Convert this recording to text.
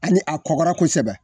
Ani a kɔgɔrɔ kosɛbɛ